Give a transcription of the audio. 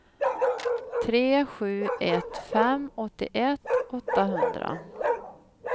tre sju ett fem åttioett åttahundra